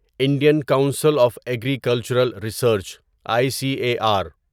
Indian council of agricultural research I C A are